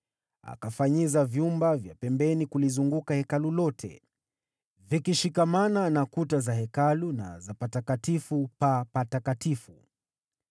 Akafanyiza vyumba vya pembeni kulizunguka Hekalu lote vikishikamana na kuta za Hekalu na za Patakatifu pa Patakatifu.